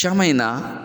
Caman in na